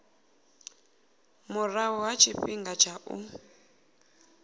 murahu ha tshifhinga tsha u